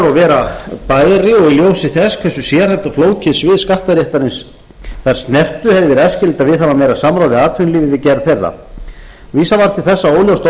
vera bæri og í ljósi þess hversu sérhæft og flókið svið skattaréttarins þær snertu hefði verið æskilegt að viðhafa meira samráð við atvinnulífið við gerð þeirra vísað var til þess að óljóst